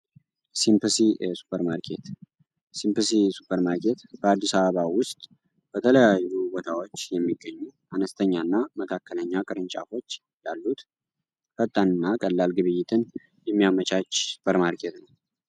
ኬሲምፕስ ሱፐር ማርኬት በአዲሳባ ውስጥ በተለያዩ ወታዎች የሚገኙ አነስተኛ እና መካከለኛ ቅርንጫፎች ያሉት ፈጣንና ቀላል ግብይትን የሚያመቻች ሱፐር ማርኬት ነው